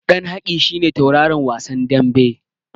Ɗan Haki shi ne tauraron wasan daɓen.